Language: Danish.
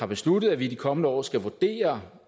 besluttet at vi i de kommende år skal vurdere